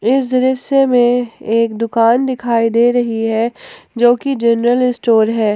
इस दृश्य में एक दुकान दिखाई दे रही है जो कि जनरल स्टोर है।